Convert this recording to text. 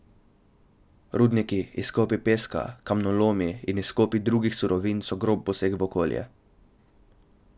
Rudniki, izkopi peska, kamnolomi in izkopi drugih surovin so grob poseg v okolje.